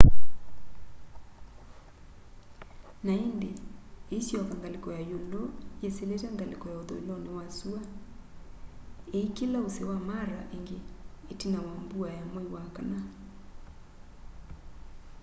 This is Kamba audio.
na indi iisyoka ngaliko ya iulu yisilite ngaliko ya uthuiloni wa sua iikila usi wa mara ingi itina wa mbua ya mwai wa kana